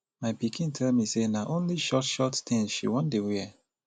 my pikin tell me say na only short short things she wan dey wear